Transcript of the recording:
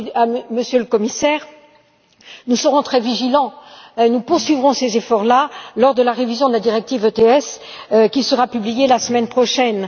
D'ailleurs, Monsieur le Commissaire, nous serons très vigilants. Nous poursuivrons ces efforts lors de la révision de la directive SEQE qui sera publiée la semaine prochaine.